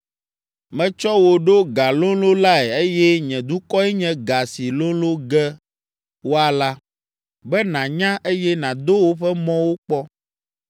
“Metsɔ wò ɖo galolõlae eye nye dukɔe nye ga si lolõ ge woala, be nànya, eye nàdo woƒe mɔwo kpɔ.